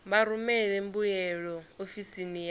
vha rumele mbuyelo ofisini ya